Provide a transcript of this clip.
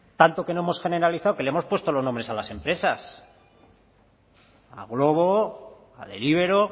tanto que no hemos generalizado que le hemos puesto los nombres a las empresas a glovo a deliveroo